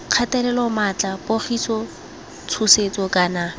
kgatelelo maatla pogiso tshosetso kana